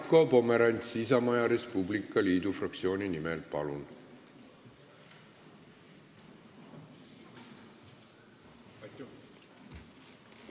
Marko Pomerants Isamaa ja Res Publica Liidu fraktsiooni nimel, palun!